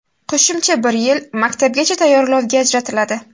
Qo‘shimcha bir yil maktabgacha tayyorlovga ajratiladi.